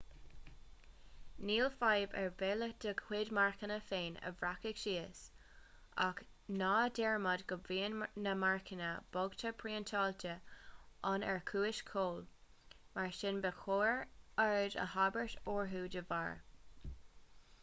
níl fadhb ar bith le do chuid marcanna féin a bhreacadh síos ach ná dearmad go mbíonn na marcanna boghta priontáilte ann ar chúis ceoil mar sin ba chóir aird a thabhairt orthu dá bharr